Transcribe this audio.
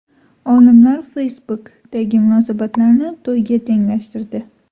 Olimlar Facebook’dagi munosabatlarni to‘yga tenglashtirdi.